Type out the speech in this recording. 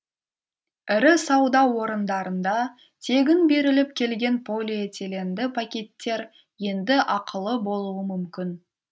ірі сауда орындарында тегін беріліп келген полиэтиленді пакеттер енді ақылы болуы мүмкін